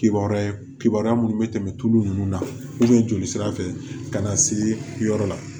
Kibaruya kibaruya minnu bɛ tɛmɛ tulu ninnu na joli sira fɛ ka na se yɔrɔ la